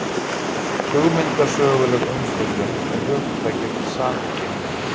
Hugmyndasöguleg umfjöllun um hugtakið samkynhneigð